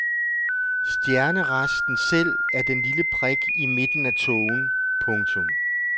Stjerneresten selv er den lille prik i midten af tågen. punktum